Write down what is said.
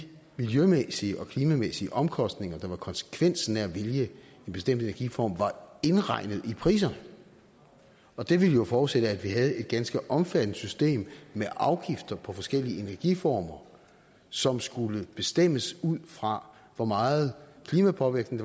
de miljømæssige og klimamæssige omkostninger der var konsekvensen af at ville have en bestemt energiform var indregnet i priserne og det ville jo forudsætte at vi havde et ganske omfattende system med afgifter på forskellige energiformer som skulle bestemmes ud fra hvor meget klimapåvirkning